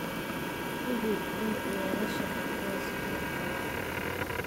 Hubi in weelasha cuntada si fiican loo dhaqay.